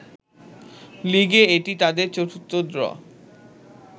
লিগে এটি তাদের চতুর্থ ড্র